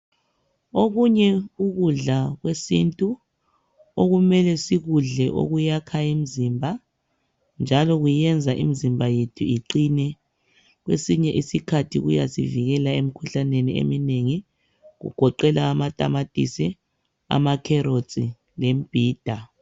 Okunye ukudla kwesiNtu okumele sikudle okuyakha umzimba njalo kuyenza imizimba yethu iqine. Kwezinye isikhathi kuyasivikela emikhuhlaneni eminengi kugoqela amatamatisi, amakherotsi lemibhida.